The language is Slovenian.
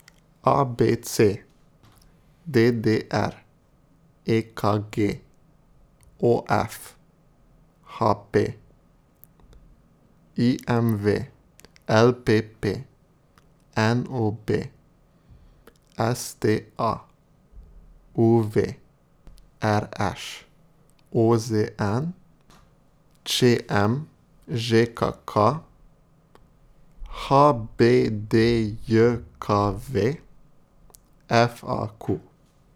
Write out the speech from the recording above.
A B C; D D R; E K G; O F; H P; I M V; L P P; N O B; S T A; U V; R Š; O Z N; Č M; Ž K K; H B D J K V; F A Q.